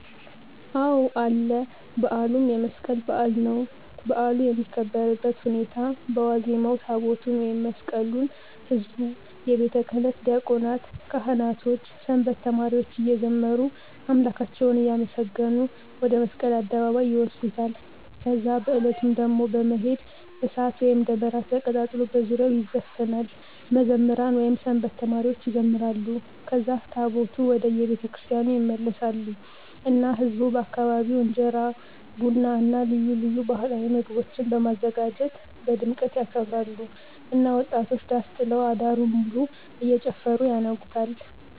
አዎ አለ በዓሉም የመስቀል በዓል ነዉ። በዓሉ የሚከበርበት ሁኔታ በዋዜማዉ ታቦታቱን ወይም መስቀሉን ህዝቡ፣ የቤተክህነት ዲያቆናት፣ ካህናቶች፣ ሰንበት ተማሪዎች እየዘመሩ አምላካቸዉን እያመሰገኑ ወደ መስቀል አደባባይ ይወስዱታል ከዛ በዕለቱም ደሞ በመሄድ፣ እሳት ወይም ደመራ ተቀጣጥሎ በዙሪያዉ ይዘፈናል፣ መዘምራን (ሰንበት ተማሪዎች) ይዘምራሉ ከዛ ታቦታቱ ወደ የቤተክርስቲያኑ ይመለሳሉ እና ህዝቡ በየአካባቢዉ እንጀራ፣ ቡና እና ልዩ ልዩ ባህላዊ ምግቦችን በማዘጋጀት በድምቀት ያከብራሉ እና ወጣቶች ዳስ ጥለዉ አዳሩን ሙሉ እየጨፈሩ ያነጉታል።